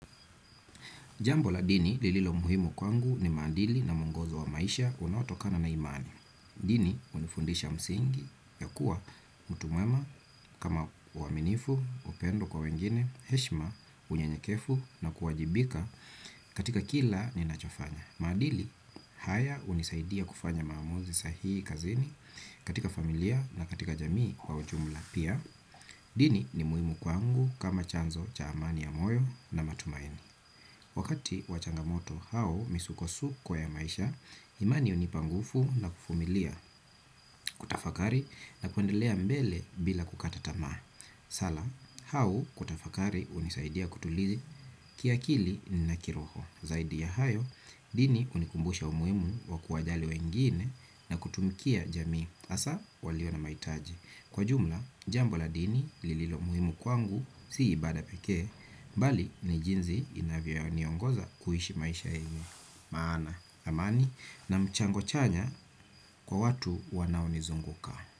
Jambo la dini lililo muhimu kwangu ni maadili na muongozo wa maisha unatokana na imani. Dini unifundisha msingi ya kuwa mtu mwema kama uaminifu, upendo kwa wengine, heshima, unyenyekevu na kuwajibika katika kila ninachofanya. Maadili haya hunisaidia kufanya maamuzi sahihi kazini, katika familia na katika jamii kwa ujumla pia. Dini ni muhimu kwangu kama chanzo cha amani ya moyo na matumaini. Wakati wa changamoto au misukosuko ya maisha, imani hunipa nguvuu na kuvumilia, kutafakari na kuendelea mbele bila kukata tamaa. Sala, au kutafakari hunisaidia kutulia kiakili na kiroho. Zaidi ya hayo, dini hunikumbusha umuhimu wa kuwajali wengine na kutumikia jamii. Hsa, walio na mahitaji. Kwa jumla, jambo la dini lililo muhimu kwangu, si ibada pekee, bali ni jinsi inavyoniongoza kuhishi maisha eni. Maana, amani, na mchango chanya kwa watu wanaonizunguka.